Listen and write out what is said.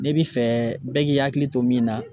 Ne bi fɛ bɛɛ k'i hakili to min na